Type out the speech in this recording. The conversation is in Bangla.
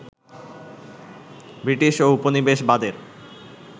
ব্রিটিশ ও উপনিবেশবাদের